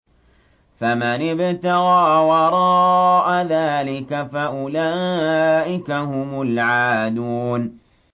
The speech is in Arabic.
فَمَنِ ابْتَغَىٰ وَرَاءَ ذَٰلِكَ فَأُولَٰئِكَ هُمُ الْعَادُونَ